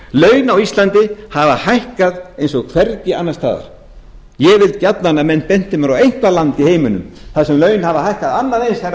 laun á íslandi hafa hækkað eins og hvergi annars staðar ég vil gjarnan að fólk bendi mér á eitthvert land í heiminum þar sem laun hafa hækkað annað eins herra